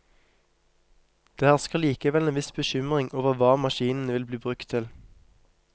Det hersker likevel en viss bekymring over hva maskinene vil bli brukt til.